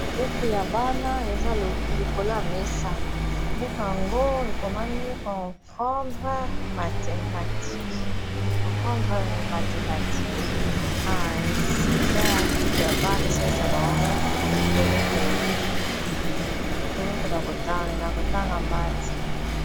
Buku ya bana eza likolo ya mesa buku yango ekomami comprendre mathematique ah eza a buku ya bana esalisa bango koyekola kotanga math.